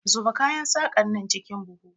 Zuba kayan saƙanan cikin buhu!